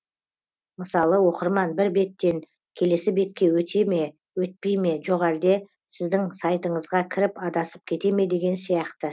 мысалы оқырман бір беттен келесі бетке өте ме өтпей ме жоқ әлде сіздің сайтыңызға кіріп адасып кете ме деген сияқты